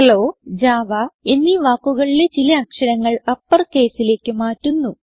hello Java എന്നീ വാക്കുകളിലെ ചില അക്ഷരങ്ങൾ uppercaseലേക്ക് മാറ്റുന്നു